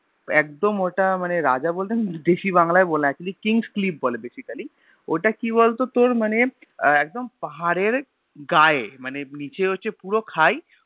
একদম ওটা মানে রাজা বলতে না দেশী বাংলায় বলে ActuallyKings cliff বলে Basically ওটা কি বলতো তোর মনে একদম পাহাড়ের গায়ে মানে নিচে হচ্ছে পুরো খাই ।